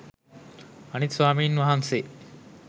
අනිත් ස්වාමීන් වහන්සේ